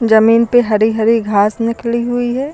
जमीन पे हरी हरी घास निकली हुई है।